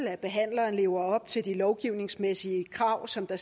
at behandleren lever op til de lovgivningsmæssige krav som der